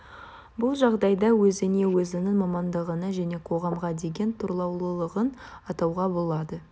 бұл жағдайда өзіне өзінің мамандығына және қоғамға деген тұрлаулылығын атауға болады